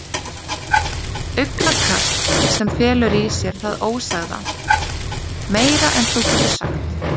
Augnakast sem felur í sér það ósagða: Meira en þú getur sagt.